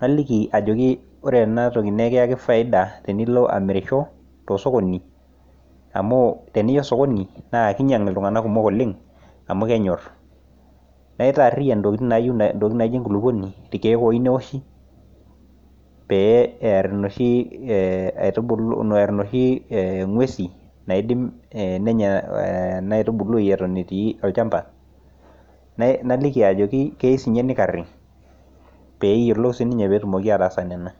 naliki ajoki ore enatoki naa ekiyaki faida tinilo amirisho, tosokoni amu tinilo sokoni naa aikinyang' iltung'anak kumok oleng amu kenyor, naitariyian intokitin naijo enkulukuoni olchani loyieu newoshi, pee eer inoshi ng'uesin nenya enaitubului eton etii olchamba naliki ajoki keyieu sininye nikari pee eyiolou sii ninye ataasa nena.